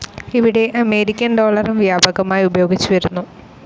ഇവിടെ അമേരിക്കൻ ഡോളറും വ്യാപകമായി ഉപയോഗിച്ചുവരുന്നു.